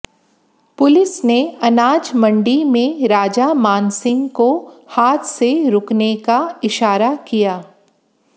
police ने अनाज मंडी में राजा मानसिंह को हाथ से रुकने का इशारा किया